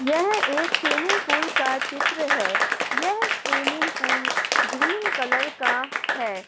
यह एक swimming pool का चित्र है। यह स्विमिंग पूल ग्रीन कलर का है।